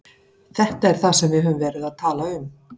Þetta er það sem við höfum verið að tala um.